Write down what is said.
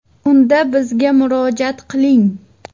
Unda bizga murojaat qiling!